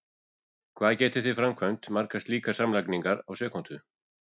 hvað getið þið framkvæmt margar slíkar samlagningar á sekúndu!